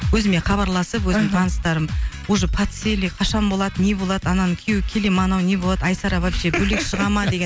өзіме хабарласып мхм өзім таныстарым уже подсели қашан болады не болады ананың күйеуі келе ме анау не болады айсара вообще бөлек шыға ма деген